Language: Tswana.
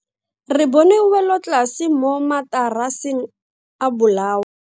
Re bone welotlase mo mataraseng a bolao.